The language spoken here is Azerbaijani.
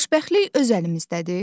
Xoşbəxtlik öz əlimizdədir.